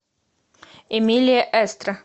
эмилия эстра